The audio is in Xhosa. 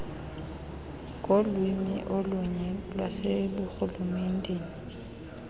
ngolwimi olunye lwaseburhulumenteni